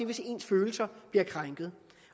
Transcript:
hvis ens følelser bliver krænket